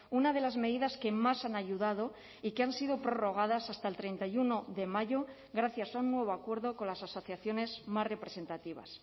una de las medidas que más han ayudado y que han sido prorrogadas hasta el treinta y uno de mayo gracias a un nuevo acuerdo con las asociaciones más representativas